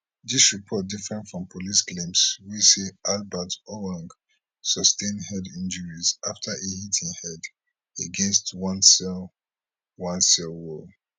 dis report different from police claims wey say albert ojwang sustain head injuries afta e hit im head against one cell one cell wall